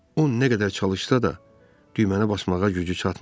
O nə qədər çalışsa da, düyməni basmağa gücü çatmadı.